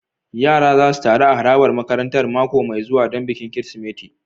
Yara za su taru a harabar makarantar mako mai zuwa don bikin Kirsimeti.